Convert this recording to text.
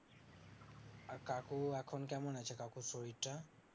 কাকু এখন কেমন আছে কাকুর শরীরটা